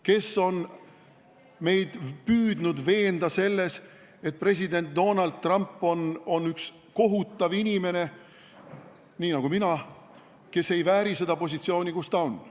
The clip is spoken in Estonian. Kes on meid püüdnud veenda selles, et president Donald Trump on üks kohutav inimene – nii nagu ka mina –, kes ei vääri oma positsiooni?